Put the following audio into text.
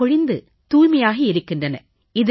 செருக்கொழிந்து தூய்மையாகி இருக்கின்றன